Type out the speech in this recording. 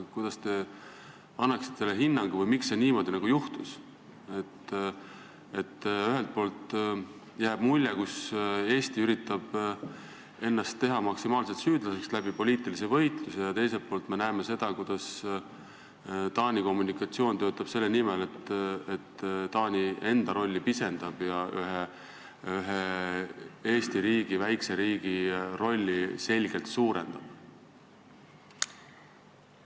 Kuidas te sellele hinnangu annaksite või miks niimoodi juhtus, et ühelt poolt jääb mulje, nagu Eesti üritaks ennast poliitilise võitluse tõttu teha maksimaalselt süüdlaseks, ja teiselt poolt me näeme, kuidas Taani kommunikatsioon töötab selle nimel, et Taani enda rolli pisendada ja Eesti, väikese riigi rolli selgelt suurendada?